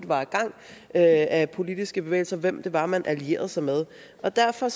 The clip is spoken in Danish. var i gang af politiske bevægelser og hvem det var man allierede sig med derfor